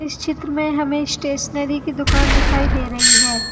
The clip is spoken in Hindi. चित्र में हमें स्टेशनरी की दुकान दिखाई दे रही है।